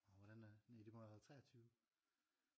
Åh hvordan er næ det må have været 23